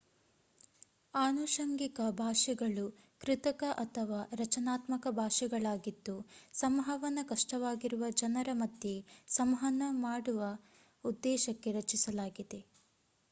ಆನುಷಂಗಿಕ ಭಾಷೆಗಳು ಕೃತಕ ಅಥವಾ ರಚನಾತ್ಮಕ ಭಾಷೆಗಳಾಗಿದ್ದು ಸಂವಹನ ಕಷ್ಟವಾಗಿರುವ ಜನರ ಮಧ್ಯೆ ಸಂವಹನ ನಡೆಸುವ ಉದ್ದೇಶಕ್ಕೆ ರಚಿಸಲಾಗಿದೆ